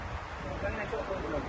Yaxşı, nə qədər olur?